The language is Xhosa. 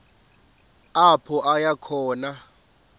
apho aya khona